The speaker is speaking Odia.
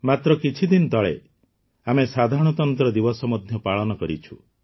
ମାତ୍ର କିଛିଦିନ ତଳେ ଆମେ ସାଧାରଣତନ୍ତ୍ର ଦିବସ ମଧ୍ୟ ପାଳନ କରିଛୁ